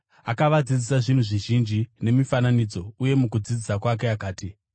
Akavadzidzisa zvinhu zvizhinji nemifananidzo, uye mukudzidzisa kwake akati,